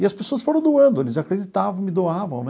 E as pessoas foram doando, eles acreditavam, me doavam né.